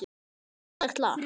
Fallegt lag.